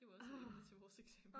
Det var også et emne til vores eksamen